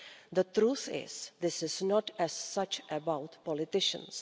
The truth is that this is not, as such, about politicians.